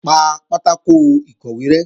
Pa pátákò ìkọ̀wé rẹ́!